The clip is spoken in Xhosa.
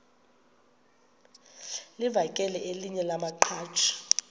livakele elinye lamaqhaji